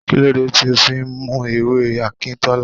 Kí ló dé tí o fí ń mu ewé Akintola?